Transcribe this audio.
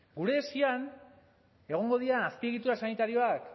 gure esian egongo dira azpiegitura sanitarioak